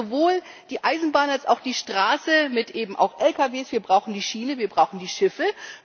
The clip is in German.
Wir brauchen sowohl die Eisenbahn als auch die Straße mit Lkw, wir brauchen die Schiene, wir brauchen die Schiffe.